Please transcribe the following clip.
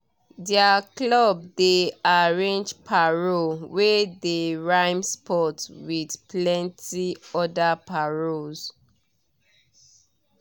their club dey arrange paro wey dey rhyme sports with plenti other paros